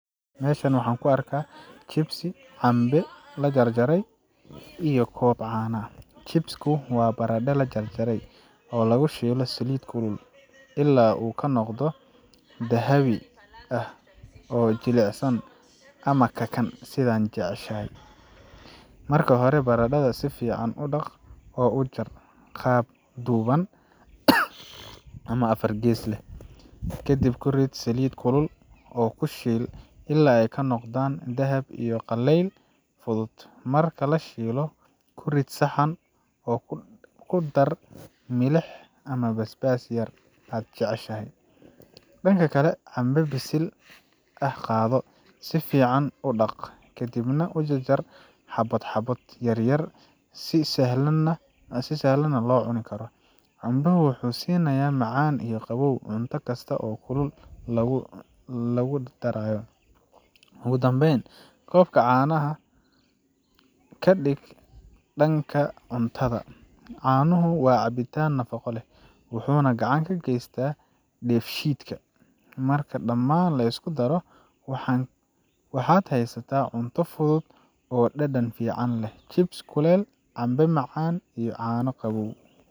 Meshan waxan kuarka, chips lajarjaray, iyo koob caana ah, chips wa barada lajarjaray, oo lagushilay saliit kulul, ila u kanogdo, dahaawi ah jilicsan, ama kakan, sidhan jeceshaxay, marka xore baradadha sifican udaq oo ujar qaab duuwan, ama afar gees leh, kadib kurid saliit kulul oo kushiil ila ay kanogdan dahab iyo qalel fudud, marki lashio kurid saxan oo kudar miliix ama basbas yar aad jeceshaxay, dank kale dambo bisil ah qadoo, si ficam udaaq, kadibna ujarjar xabad yaryar, si saxlan aya locuna, canboxa wuxu sinaya macan iyo qawow cunta kasta oo kulul lagucuno, oo lagudardarayo, ogu dambeyn koobka canaxa kadib danka cuntada, caanaxu wa cunta nafaga leh, wuxuna gacan gaqeyta bedshiitka, marka daman liskudaro waxan, waxad xaysata cunta fudud oo dadan fican leh, chips kulul iyo cambo macan iyo caano qawow.